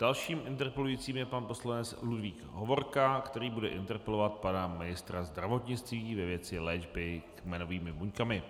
Dalším interpelujícím je pan poslanec Ludvík Hovorka, který bude interpelovat pana ministra zdravotnictví ve věci léčby kmenovými buňkami.